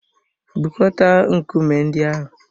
Bukọta nkume ndị ahụ!